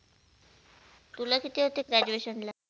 तुला कीती होते? Graduation ला?